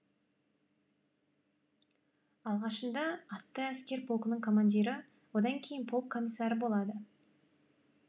алғашында атты әскер полкының командирі одан кейін полк комиссары болады